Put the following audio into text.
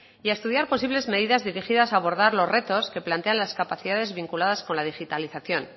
y a estudiar posibles medidas dirigidas a abordar los retos que plantean las capacidades vinculadas con la digitalización